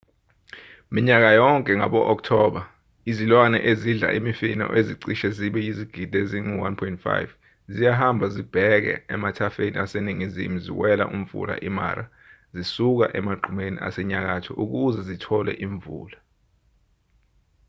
minyaka yonke ngabo-okthoba izilwane ezidla imifino ezicishe zibe yizigidi ezingu-1,5 ziyahamba zibheke emathafeni aseningizimu ziwela umfula i-mara zisuka emagqumeni asenyakatho ukuze zitole imvula